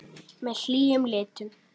Með hlýjum litum.